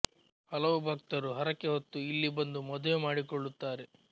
ಹಲವು ಭಕ್ತರು ಹರಕೆ ಹೊತ್ತು ಇಲ್ಲಿ ಬಂದು ಮದುವೆ ಮಾಡಿಕೊಳ್ಳುತ್ತಾರೆ